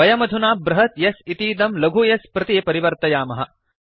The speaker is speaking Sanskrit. वयमधुना बृहत् S इतीदं लघु s प्रति परिवर्तयामः